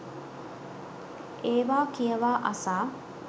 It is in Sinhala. ඒවා කියවා අසා